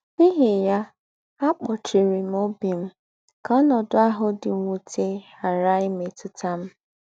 N’íhí ya, àkpòchìrì m ọ́bì m kà ọ́nọ́dù àhụ̀ dì m̀wùtè ghàrà ìmètùtà m.